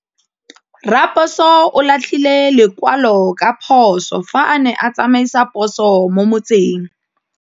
Raposo o latlhie lekwalô ka phosô fa a ne a tsamaisa poso mo motseng.